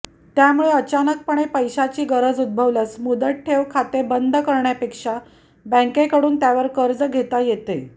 त्यामुळे अचानकपणे पैश्याची गरज उदभवल्यास मुदत ठेव खाते बंद करण्यापेक्षा बँकेकडुन त्यावर कर्ज घेता येते